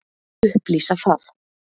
Ég skal fúslega upplýsa það.